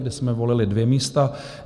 kde jsme volili dvě místa.